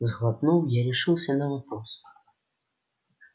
сглотнув я решился на вопрос